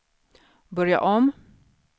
börja om